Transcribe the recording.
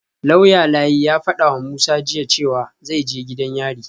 Lauya Layi ya fadawa Musa jiya cewa zai je gidan yari